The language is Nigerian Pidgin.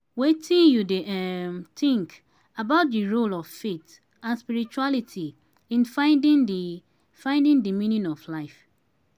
wetin you dey um think about di role of faith and spirituality in finding di finding di meaning of life.